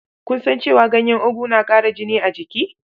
Ku san cewa ganyen ogu na ƙara jini a jiki?